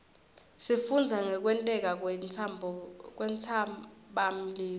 sifundza ngekwenteka kwentsabamlilo